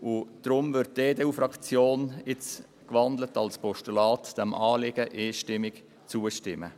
Deshalb wird die EDU-Fraktion diesem in ein Postulat gewandelten Anliegen einstimmig zustimmen.